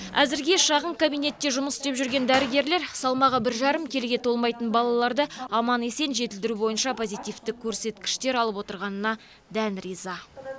әзірге шағын кабинетте жұмыс істеп жүрген дәрігерлер салмағы бір жарым келіге толмайтын балаларды аман есен жетілдіру бойынша позитивті көрсеткіштер алып отырғанына дән риза